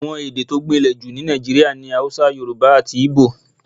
Àwọn èdè tó gbìnlè jù ní Nàìjíríà ni Yorùbá, Haúsá àti Igbo.